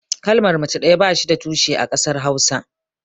Kalmar mace ɗaya ba shi da tushe a ƙasar hausa.